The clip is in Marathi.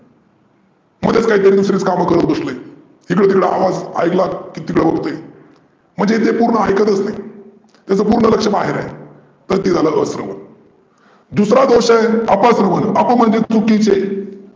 मध्येच काहीतरी दुसरेच काम करत बसलय. इकडे तिकडे आवाज ऐकला की तिकड बघतय म्हणजे ते पुर्ण ऐकतच नाही. म्हणजे त्याचं पुर्ण लक्ष माझ्याकड आहे. तर ते झाला स्रवन. दुसरा दोष आहे अपस्रवन, अप म्हणजे चुकिचे.